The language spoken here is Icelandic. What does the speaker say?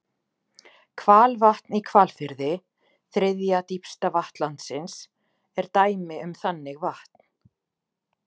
Hvalvatn í Hvalfirði, þriðja dýpsta vatn landsins, er dæmi um þannig vatn.